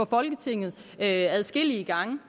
folketinget adskillige gange